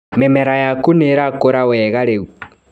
Mĩmera yaku nĩirakũra wega rĩu.